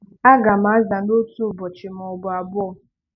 A gam aza n'otu ụbọchị ma ọ bụ abụọ.